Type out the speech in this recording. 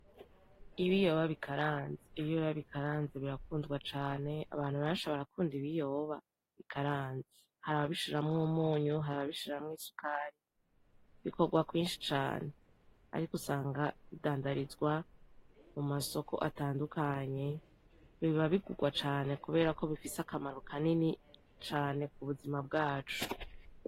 Ibiyoba bikaranze : Ibiyoba bikaranze birakundwa cane , abantu benshi barakunda Ibiyoba bikaranze. Harababishiramwo umunyu , harababishiramwo isukari , bikorwa kwinshi cane. Ariko usanga bidandarizwa mumasoko atandukanye , biba bigurwa cane kubera ko bifise akamaro kanini cane kubuzima bwacu .